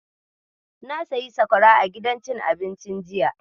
Na sayi sakwara a gidan cin abincin jiya.